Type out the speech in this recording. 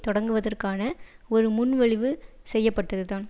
தொடக்குவதற்கான ஒரு முன்மொழிவு செய்யப்பட்டதுதான்